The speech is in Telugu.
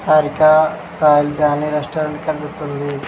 హారి క రాయల్ ఫ్యామిలీ రెస్టారెంట్ కనిపిస్తోంది.